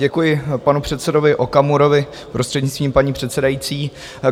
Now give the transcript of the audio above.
Děkuji panu předsedovi Okamurovi, prostřednictvím paní předsedající.